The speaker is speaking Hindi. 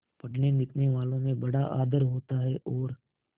पढ़नेलिखनेवालों में बड़ा आदर होता है और